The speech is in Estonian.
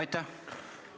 Aitäh!